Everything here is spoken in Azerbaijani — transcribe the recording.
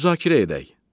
Müzakirə edək.